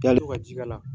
Yalo ka ji k'a la